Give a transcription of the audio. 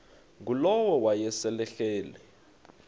ngulowo wayesel ehleli